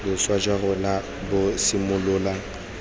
boswa jwa rona bo simolola